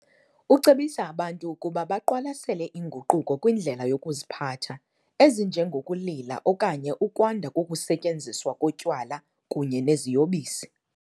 Ucebisa abantu ukuba baqwalasele inguquko kwindlela yokuziphatha, ezinjengokulila okanye ukwanda kokusetyenziswa kotywala kunye neziyobisi.